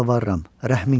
Rəhmin gəlsin.